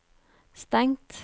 stengt